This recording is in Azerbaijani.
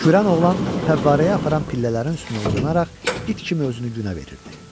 Kürən oğlan fəvvarəyə aparan pillələrin üstünə uzanaraq it kimi özünü günə verirdi.